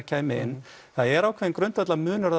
kæmi inn það er ákveðinn grundvallarmunur